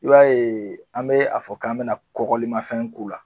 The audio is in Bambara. I b'a ye an bɛ a fɔ k'an bina kɔkɔlilmafɛn k'u la